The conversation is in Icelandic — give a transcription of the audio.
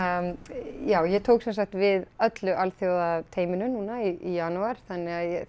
já ég tók sem sagt við öllu alþjóðateyminu núna í janúar þannig að